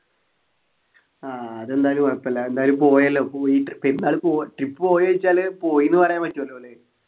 ആഹ് അതെന്തായാലും കൊഴപ്പമില്ല എന്തായാലും പോയല്ലോ പോയിട്ട് പെരുന്നാള് പോവ trip പോയോ ചോയ്ചാല് പോയിന്ന് പറയാൻ പറ്റുവല്ലോ ല്ലേ